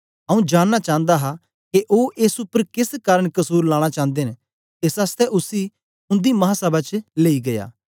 आंऊँ जानना चांदा हा के ओ एस उपर केस कारन कसुर लाना चांदे न एस आसतै उसी उन्दी महासभा च लेई गीया